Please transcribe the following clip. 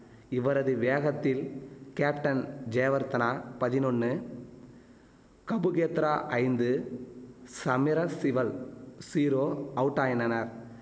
இவரது வேகத்தில் கேப்டன் ஜெயவர்தனா பதினொன்னு கபுகேதரா ஐந்து சமிரசிவல் ஜீரோ அவுட்டாயினனர்